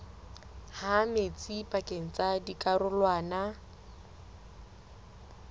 ha metsi pakeng tsa dikarolwana